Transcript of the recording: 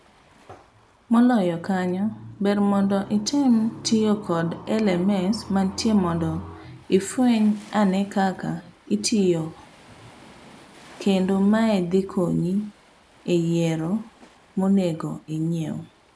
Moloyo kanyo, ber mondo item tiyo kod LMS mantie mondo ifueny anee kaka otiyo kendo mae dhi konyi e yiero monego ing'iew.